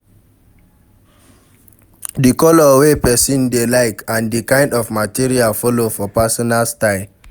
Di color wey person dey like and di kind of material follow for personal style